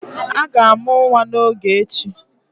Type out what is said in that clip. A ga-amụ nwa n'oge a echi